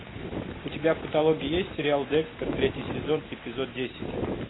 у тебя в каталоге есть сериал декстер третий сезон эпизод десять